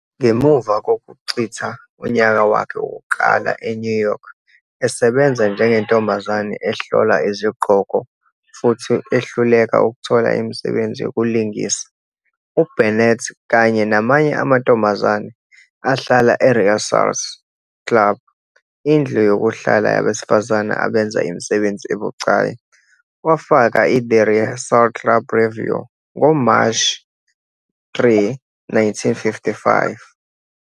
Ngemuva kokuchitha unyaka wakhe wokuqala eNew York esebenza njengentombazane ehlola izigqoko futhi ehluleka ukuthola imisebenzi yokulingisa, uBurnett, kanye namanye amantombazane ahlala eRearsars Club, indlu yokuhlala yabesifazane abenza imisebenzi ebucayi, wafaka "iThe Rehearsal Club Revue" ngoMashi 3, 1955.